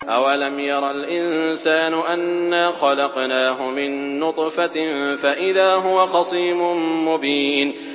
أَوَلَمْ يَرَ الْإِنسَانُ أَنَّا خَلَقْنَاهُ مِن نُّطْفَةٍ فَإِذَا هُوَ خَصِيمٌ مُّبِينٌ